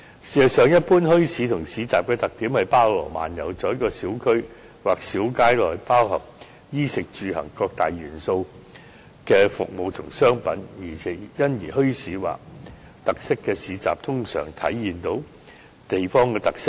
事實上，一般墟市和市集的特點是包羅萬有，在一個小區或小街內包含衣、食、住、行各大元素的服務和商品，因而墟市或特色市集通常能體現地方特色。